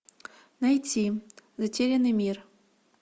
найти затерянный мир